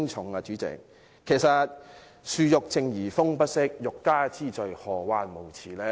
代理主席，其實樹欲靜而風不息；欲加之罪，何患無辭？